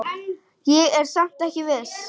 Ég er samt ekki viss.